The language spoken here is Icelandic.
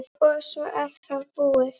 og svo er það búið.